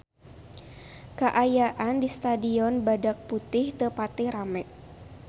Kaayaan di Stadion Badak Putih teu pati rame